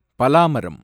பலா மரம்